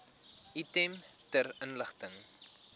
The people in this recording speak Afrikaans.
item ter inligting